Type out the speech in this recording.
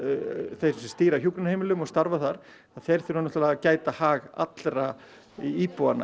þeir sem stýra hjúkrunarheimilum og starfa þar að þeir þurfa að gæta hags allra íbúanna